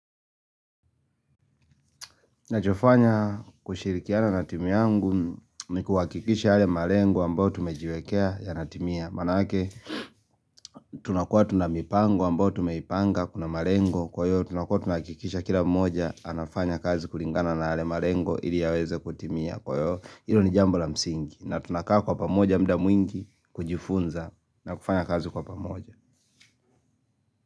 Nachofanya kushirikiana na timu yangu nikuhakikisha yale malengo ambayo tumejiwekea yanatimia Manake tunakua tuna mipango ambayo tumeipanga kuna marengo kwa hio tunakua tunahakikisha kila mmoja anafanya kazi kulingana na yale marengo ili yaweze kutimia kwa hio hilo ni jambo la msingi na tunakaa kwa pamoja muda mwingi kujifunza na kufanya kazi kwa pamoja.